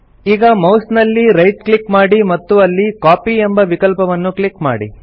ಈಗ ಮೌಸ್ ನಲ್ಲಿ right click ಮಾಡಿ ಮತ್ತು ಅಲ್ಲಿ ಕಾಪಿ ಎಂಬ ವಿಕಲ್ಪವನ್ನು ಕ್ಲಿಕ್ ಮಾಡಿ